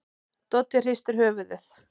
Doddi hristir höfuðið.